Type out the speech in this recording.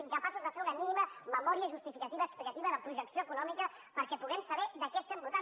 incapaços de fer una mínima memòria justificativa explicativa de projecció econòmica perquè puguem saber què votem